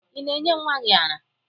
Ị na-enye nwa gị ara?